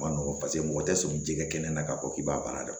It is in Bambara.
Ma nɔgɔn paseke mɔgɔ tɛ sɔn jɛgɛ kɛnɛ kɛnɛ na k'a fɔ k'i b'a baara dɔn